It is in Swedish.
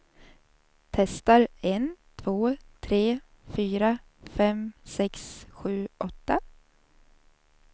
Testar en två tre fyra fem sex sju åtta.